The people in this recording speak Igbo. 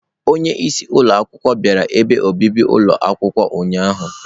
Onye isi ụlọ akwụkwọ bịara ebe obibi ụlọ akwụkwọ ụnyahụ.